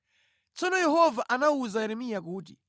Tsono Yehova anawuza Yeremiya kuti,